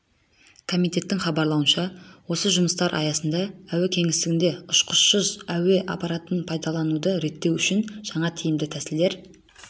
комитеттің хабарлауынша осы жұмыстардың аясында әуе кеңістігінде ұшқышсыз әуе аппараттарын пайдалануды реттеу үшін жаңа тиімді тәсілдер